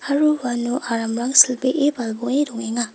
aro uano aramrang silbee balboe dongenga.